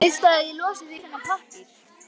Viltu að ég losi þig við þennan pappír?